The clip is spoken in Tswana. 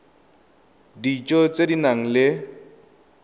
dijo tse di nang le